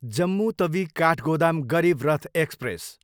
Jammu Tawi, Kathgodam Garib Rath express